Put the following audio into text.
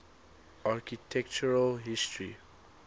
architectural history